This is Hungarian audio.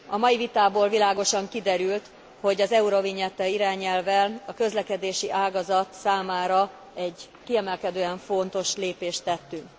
A mai vitából világosan kiderült, hogy az eurovignetta irányelvvel a közlekedési ágazat számára egy kiemelkedően fontos lépést tettünk.